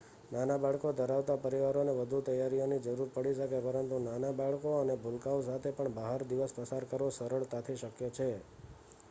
નાના બાળકો ધરાવતા પરિવારોને વધુ તૈયારીઓની જરૂર પડી શકે, પરંતુ નાના બાળકો અને ભૂલકાઓ સાથે પણ બહાર દિવસ પસાર કરવો સરળતાથી શક્ય છે